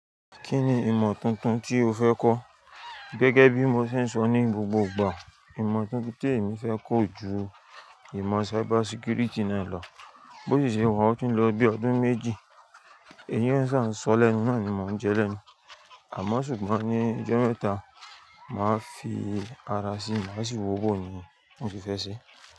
Kí ni ìmọ̀ tuntun tí o fẹ́ kọ́? Gẹ́gẹ́ bí mo ṣe ń sọ ní gbogbo ìgbà, ìmọ̀ tuntun tí èmi fẹ́ kọ̀ o ju ìmọ̀ cybersecurity náà lọ. Bo si ṣe wa o ti ń lọ bí ọdún méjì èyí ni sa ń sọ lẹ́nu náà ni mo ń jẹ́ lẹ́nu. Àmọ́ ṣùgbọ́n ní ọjọ́ mẹ́ta máa fi ara sí má ṣi wò bò ni mo ti fẹ́ ṣe.